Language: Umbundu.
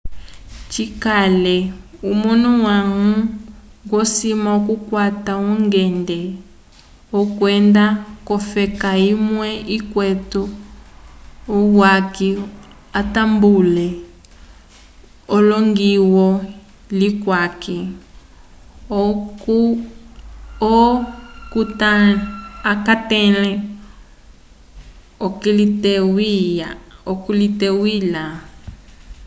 cikale omunu wañgo osima okukwata ungende wokwenda k'ofeka imwe ikwete uyaki atambule elongiyo lyuyaki oco akatẽle okuliteywila